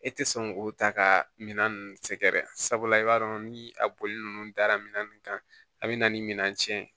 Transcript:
E tɛ sɔn k'o ta ka minan ninnu sɛgɛrɛ sabula i b'a dɔn ni a bɔli ninnu dara minɛn kan a bɛ na ni minan tiɲɛ ye